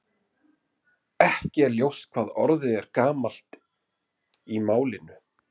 Ekki er ljóst hvað orðið er gamalt í málinu.